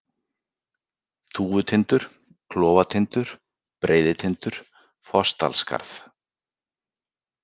Þúfutindur, Klofatindur, Breiðitindur, Fossdalsskarð